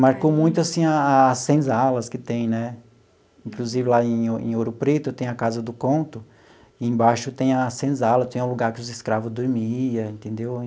Marcou muito assim as senzalas que tem né, inclusive lá em em Ouro Preto tem a Casa do Conto, embaixo tem a senzala, tinha o lugar que os escravos dormia, entendeu?